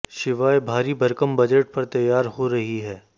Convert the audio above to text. शिवाय भारी भरकम बजट पर तैयार हो रही है